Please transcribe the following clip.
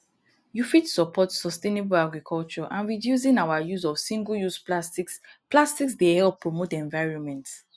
you fit support sustainable agriculture and reducing our use of singleuse plastics plastics dey help promote environment